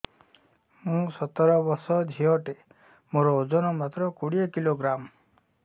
ମୁଁ ସତର ବର୍ଷ ଝିଅ ଟେ ମୋର ଓଜନ ମାତ୍ର କୋଡ଼ିଏ କିଲୋଗ୍ରାମ